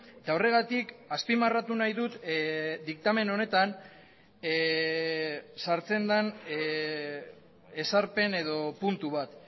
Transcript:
eta horregatik azpimarratu nahi dut diktamen honetan sartzen den ezarpen edo puntu bat